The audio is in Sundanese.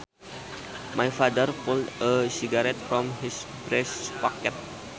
My father pulled a cigarette from his breast pocket